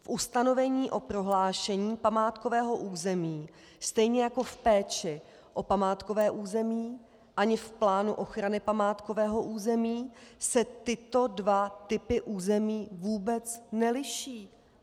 V ustanovení o prohlášení památkového území stejně jako v péči o památkové území ani v plánu ochrany památkového území se tyto dva typy území vůbec neliší.